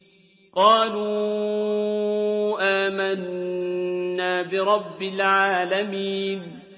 قَالُوا آمَنَّا بِرَبِّ الْعَالَمِينَ